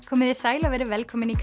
komiði sæl og verið velkomin í